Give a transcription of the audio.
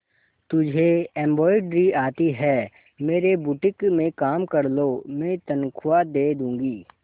तुझे एंब्रॉयडरी आती है मेरे बुटीक में काम कर लो मैं तनख्वाह दे दूंगी